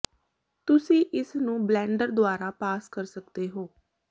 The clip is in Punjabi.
ਤੁਸੀਂ ਇਸ ਨੂੰ ਬਲੈਨਡਰ ਦੁਆਰਾ ਪਾਸ ਕਰ ਸਕਦੇ ਹੋ